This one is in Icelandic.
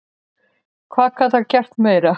Hvað gat hann gert meira?